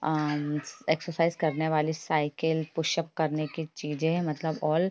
अम exercise करने वाली cycle pushup करने की चीज़े मतलब ऑल --